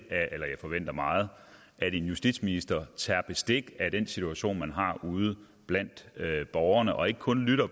eller jeg forventer meget at en justitsminister tager bestik af den situation man har ude blandt borgerne og ikke kun lytter